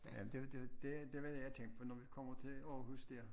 Ja det det det var det jeg tænkte for når vi kommer til Aarhus dér